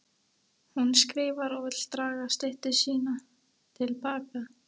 Hún skrifar og vill draga styttu sína til baka.